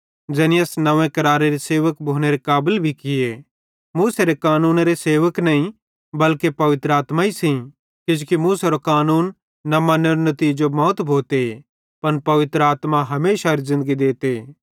ज़ैनी अस नंव्वे करारेरे सेवक भोनेरे काबल भी किये मूसेरे कानूनेरे सेवक नईं बल्के पवित्र आत्मा सेइं किजोकि मूसेरो कानून न मन्नेरो नितीजो मौत भोते पन पवित्र आत्मा हमेशारी ज़िन्दगी देते